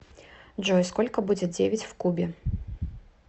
джой сколько будет девять в кубе